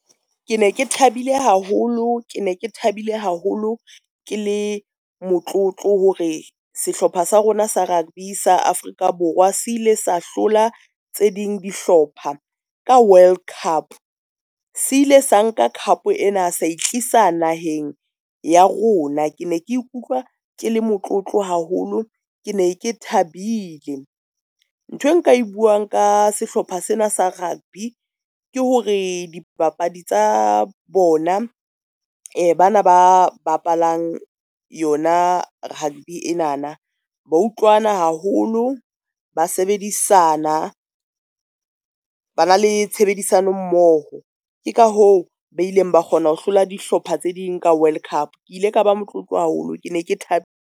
Ke ne ke thabile haholo, ke ne ke thabile haholo. Ke le motlotlo hore sehlopha sa rona sa rugby sa Afrika Borwa se ile sa hlola tse ding dihlopha ka World Cup. Se ile sa nka cup ena a sa e tlisa naheng ya rona, ke ne ke ikutlwa ke le motlotlo haholo, ke ne ke thabile. Nthwe nka e buang ka sehlopha sena sa rugby ke hore di bapadi tsa bona, bana ba bapalang yona rugby ena na, ba utlwana haholo, ba sebedisana, ba na le tshebedisano mmoho ke ka hoo ba ileng ba kgona ho hlola dihlopha tse ding ka World Cup. Ke ile ka ba motlotlo haholo, ke ne ke thab .